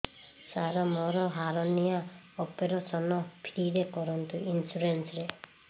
ସାର ମୋର hernia operation free ରେ କରନ୍ତୁ ଇନ୍ସୁରେନ୍ସ ରେ